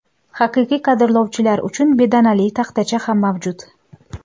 Haqiqiy qadrlovchilar uchun bedanali taxtacha ham mavjud.